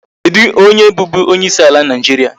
Kedụ onye bụbu onyeisi ala Nigeria?